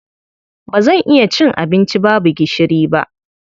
Ba zan iya cin abinci babu gishiri ba.